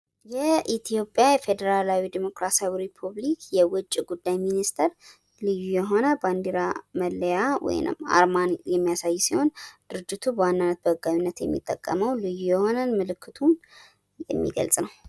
የኢትዮጵያ ፌዴራላዊ ዴሞክራሲያዊ ሪፐብሊክ የዉጭ ጉዳይ ሚኒስትር ልዩ የሆነ ባንዲራ መለያ ወይንም አርማን የሚያሳይ ሲሆን ፤ ድርጅቱ በዋናነት በህጋዊነት የሚጠቀመዉ ልዩ የሆነ ምልክቱን የሚገልጽ ነው።